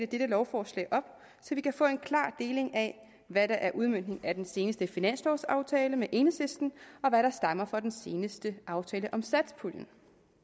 dette lovforslag op så vi kan få en klar deling af hvad der er udmøntning af den seneste finanslovaftale med enhedslisten og hvad der stammer fra den seneste aftale om satspuljen